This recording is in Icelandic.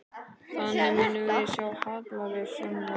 Þannig að við munum sjá hallalaus fjárlög áfram?